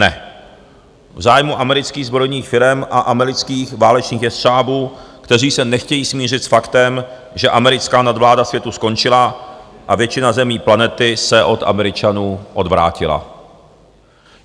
Ne, v zájmu amerických zbrojních firem a amerických válečných jestřábů, kteří se nechtějí smířit s faktem, že americká nadvláda světu skončila a většina zemí planety se od Američanů odvrátila.